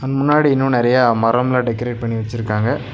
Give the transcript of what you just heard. முன்னாடி இன்னும் நெறைய மரம்லாம் டெக்கரேட் பண்ணி வச்சிருக்காங்க.